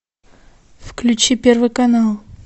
включи первый канал